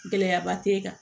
Gɛlɛyaba t'e kan